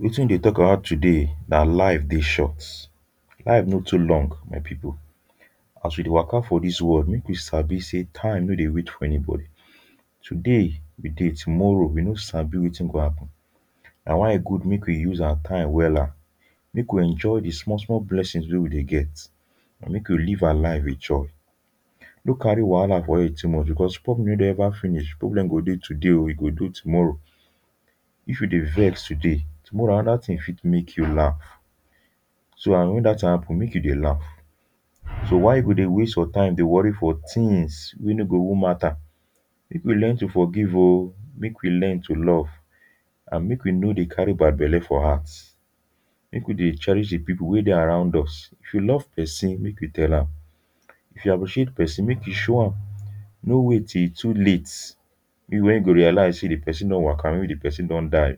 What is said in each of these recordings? wetin we deh talk about today nah life deh short life no too long my people as we deh waka for this world make we sabi say time no deh wait for anybody today we deh tomorrow we no sabi wetin go happen nah why e good make we use our time wella make we enjoy the small small blessings weh we deh get and make we deh live our lives with joy no carry wahala for head too much because problem no deh ever finish problem go deh today um e go deh tomorrow if you deh vex today tomorrow another thing fit make you laugh so and when that thing happen make you deh laugh so why you go deh waste your time deh worry for things weh no go even matter make we learn to forgive um make we learn to love and make we no deh carry bad belle for heart make we deh cherish the people weh deh around us if we love person make we tell am if we appreciate person make we show am no wait till e too late maybe when you go realize say the person don waka or maybe the person don die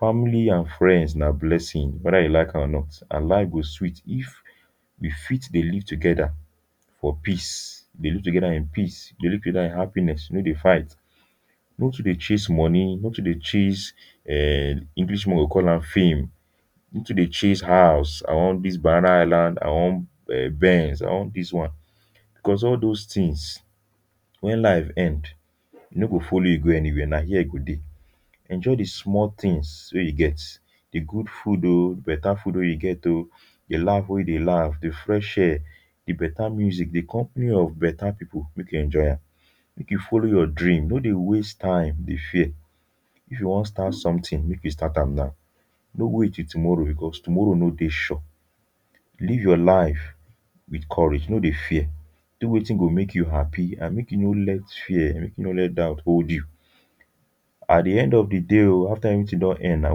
family and friends nah blessings whether you like am or not and life go sweet if we fit deh live together for peace deh live together in peace deh live together in happiness we no deh fight no too deh chase money no too deh chase um english people go call am fame no too deh chase house I want dis banana island I wan um benz I want dis one cause all those things when life end e no go follow you go anywhere nah here e go deh enjoy the small things weh you get the good food um better food weh you get um the laugh weh you deh laugh the fresh air the better music the company of better people make you enjoy am make you follow your dream no deh waste time deh fear if you wan start something make you start am now no wait till tomorrow because tomorrow no deh sure live your life with courage no deh fear do wetin go make you happy and make you no let fear make you no let doubt hold you at the end of the day um after everything don end nah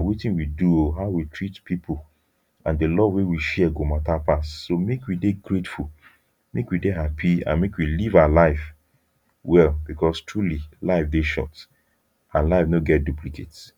wetin we do um how we treat people and the love weh we share go matter pass so make we deh grateful make we deh happy and make we live our life well because truly life deh short and life no get duplicate.